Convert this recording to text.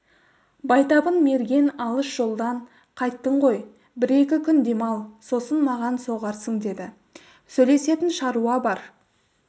байтабын мерген алыс жолдан қайттың ғой бір-екі күн демал сосын маған соғарсың деді сөйлесетін шаруа бар